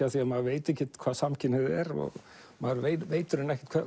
af því maður veit ekkert hvað samkynhneigð er og maður veit ekkert